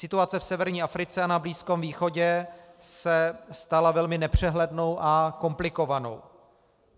Situace v severní Africe a na Blízkém východě se stala velmi nepřehlednou a komplikovanou.